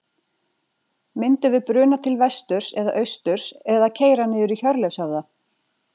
Myndum við bruna til vesturs eða austurs, eða keyra niður í Hjörleifshöfða?